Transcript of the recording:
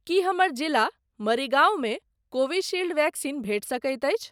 की हमर जिला मरीगांव मे कोविशील्ड वैक्सीन भेटि सकैत अछि?